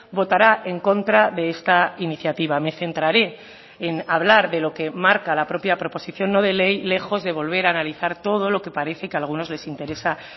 votará en contra de esta iniciativa me centraré en hablar de lo que marca la propia proposición no de ley lejos de volver a analizar todo lo que parece que a algunos les interesa